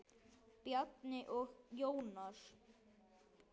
Bjarni og Jónas.